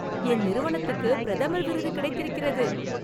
என் நிறுவனத்துக்கு பிரதமர் விருது கிடைத்திருக்கிறது!